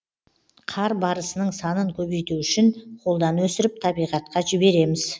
қар барысының санын көбейту үшін қолдан өсіріп табиғатқа жібереміз